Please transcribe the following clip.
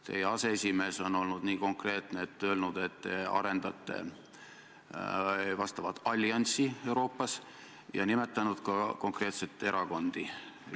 Teie aseesimees on olnud nii konkreetne, et on öelnud, et te arendate Euroopas vastavat allianssi, ja ta on nimetanud ka konkreetseid erakondi.